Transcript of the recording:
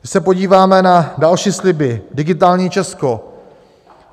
Když se podíváme na další sliby - digitální Česko.